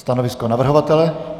Stanovisko navrhovatele?